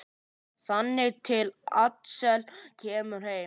Þangað til Axel kemur heim.